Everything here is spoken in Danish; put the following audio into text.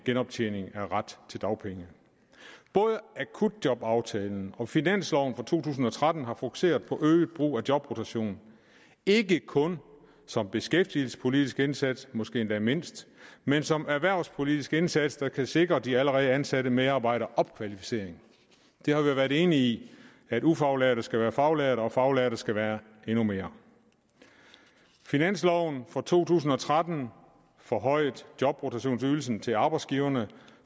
genoptjening af ret til dagpenge både akutjobaftalen og finansloven for to tusind og tretten har fokuseret på øget brug af jobrotation ikke kun som beskæftigelsespolitisk indsats måske endda mindst men som erhvervspolitisk indsats der kan sikre de allerede ansatte medarbejdere opkvalificering vi har været enige i at ufaglærte skal være faglærte og faglærte skal være endnu mere finansloven for to tusind og tretten forhøjede jobrotationsydelsen til arbejdsgiverne